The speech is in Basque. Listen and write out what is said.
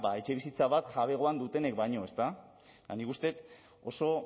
etxebizitza bat jabegoan dutenek baino eta nik uste dut oso